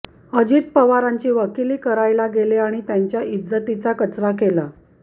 अजित पवारांची वकिली करायला गेले आणि त्यांच्या इज्जतीचा कचरा केला